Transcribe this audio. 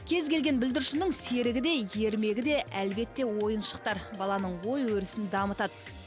кез келген бүлдіршіннің серігі де ермегі де әлбетте ойыншықтар баланың ой өрісін дамытады